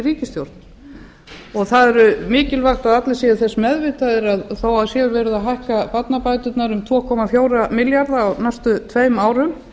ríkisstjórnar og það er mikilvægt að allir séu þess meðvitaðir að þó að verið sé að hækka barnabæturnar um tvö komma fjóra milljarða á næstu tveimur árum